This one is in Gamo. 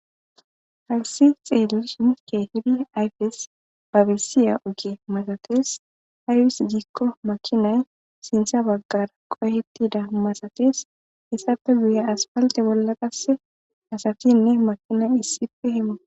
Hayssi xelishin keehi ayfes babisiyya ogge malathess aybiss gikko makinay sintha bagara qohethida masathess hayssappe guyye aspalththe bolla qasse assathinne makinay issippe hamuthess.